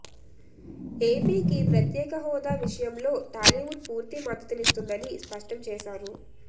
ఏపీకి ప్రత్యేక్ష హోదా విషయంలో టాలీవుడ్ పూర్తి మద్దతునిస్తుందని స్పష్టం చేశారు